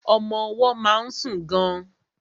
Ọmọ ọwọ́ má ń sùn gan.